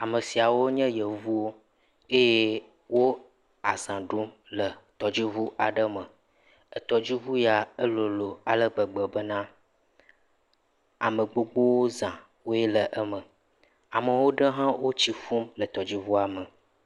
amesiawo nye yevuwo eye wó azã ɖum le etɔdziʋu aɖe me tɔdziʋu ya e lolo alegbegbe bena ame gbogbówoe zã le eme ame woaɖe hã etsi ƒum le tɔdziʋua me